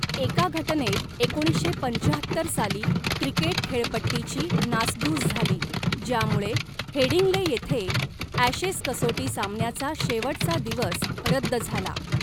एका घटनेत एकोणीसशे पंचाहत्तर साली क्रिकेट खेळपट्टीची नासधूस झाली, ज्यामुळे हेडिंग्ले येथे ॲशेस कसोटी सामन्याचा शेवटचा दिवस रद्द झाला.